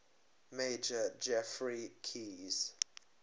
major geoffrey keyes